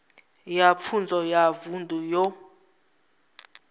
ya pfunzo ya vunḓu yo